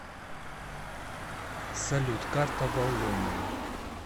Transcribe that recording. салют карта валлония